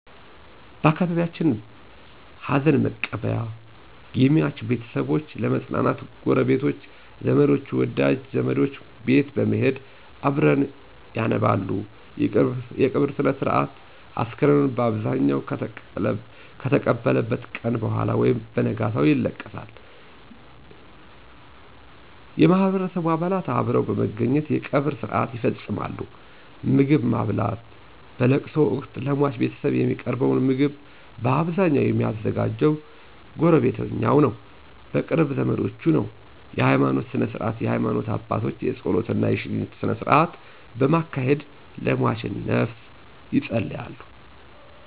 በአካባቢየችን ሀዘንመቀበያ የሟች ቤተሰቦች ለመጽናናት ጉረቤቶች፣ ዘመድወደጅ ወደሟች ቤት በመሄድ አብረዉ ያነባሉ _የቀብር ስነስርአት፣ አስከሬኑ ባብዛኘዉ ከተለቀሰበት ቀነ በኋላ ወይም በነጋታው ይለቀሳል ይለቀሳል_የቀበርስነስርአትሁሉም ወንድ የማህበረሰቡ አባላት አብረዉ በመገኘት የቀብር ስርአት ይፈጸማል _ምግብማብላት በለቅሶወቅት ለሟች ቤተሰብ የሚቀርበዉ ምግብ ባብዛኘዉ የሚዘጋጀዉ በጉረቤቶቾ እና በቅርብ ዘመዶች ነዉ ነዉ_የሀይማኖት ስነስርዓት የሀይማኖት አባቶች የጾለት እና የሽኝት ስነስርአቶችን በማካሄድ ለሟችነፍስ የጸልያሉ።